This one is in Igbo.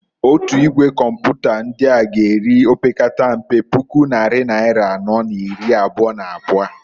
Otu Igwe Kọmpụta ndịa g'eri opekatampe puku nnari naịra anọọ n'iri abụa n'abụa.